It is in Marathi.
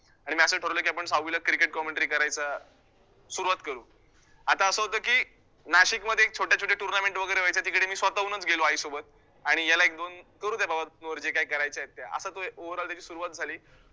आणि मी असं ठरवलं की आपण सहावीला cricket commentary करायचा सुरुवात करू, आता असं होतं की नाशिकमध्ये एक छोट्या छोट्या tournament वैगरे व्हायच्या तिकडे मी स्वतः हूनच गेलो आईसोबत आणि याला एक दोन करू दे बाबा तोवर जे काही करायचे आहेत त्या, असा तो overall त्याची सुरुवात झाली.